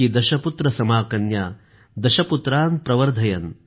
दशपुत्र समाकन्या दशपुत्रान प्रवर्धयन्